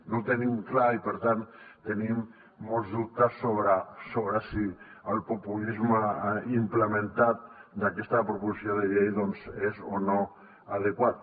no ho tenim clar i per tant tenim molts dubtes sobre si el populisme implementat d’aquesta proposició de llei doncs és o no adequat